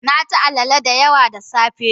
Na ci alele da yawa da safe.